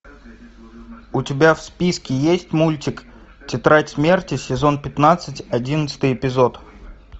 у тебя в списке есть мультик тетрадь смерти сезон пятнадцать одиннадцатый эпизод